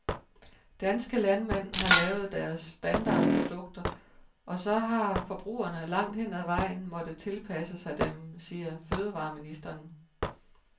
Danske landmænd har lavet deres standardprodukter, og så har forbrugerne langt hen ad vejen måttet tilpasse sig dem, siger fødevareministeren.